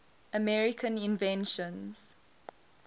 american inventions